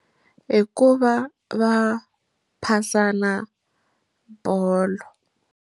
Hi ku va va phasana bolo.